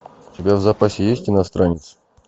у тебя в запасе есть иностранец